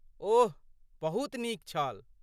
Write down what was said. ओह, बहुत नीक छल!